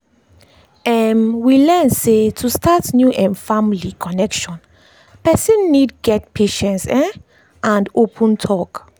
um we learn sey to start new um family connection person need get patience um and open talk.